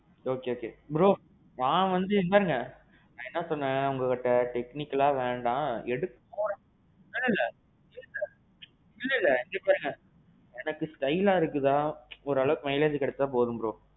okay okay. bro. நான் வாந்தி இதபாருங்க, என்ன சொன்னேன் உங்ககிட்ட technical வேண்டாம். எடுக்கிறோம் சொல்லுங்க. இல்லல்ல இத பாருங்க, எனக்கு styleஆ இருக்குதா. ஓரளவுக்கு mileage கெடச்சா போதும் bro.